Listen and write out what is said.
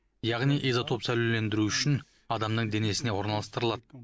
яғни изотоп сәулелендіру үшін адамның денесіне орналастырылады